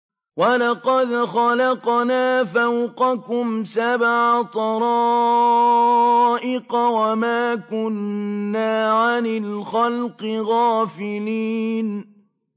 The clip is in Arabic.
وَلَقَدْ خَلَقْنَا فَوْقَكُمْ سَبْعَ طَرَائِقَ وَمَا كُنَّا عَنِ الْخَلْقِ غَافِلِينَ